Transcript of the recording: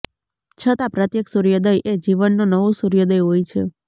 છતાં પ્રત્યેક સૂર્યોદય એ જીવનનો નવો સૂર્યોદય હોય છે